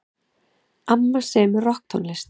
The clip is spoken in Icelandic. Amma semur rokktónlist.